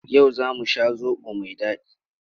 Yau za mu sha zaɓo mai daɗi.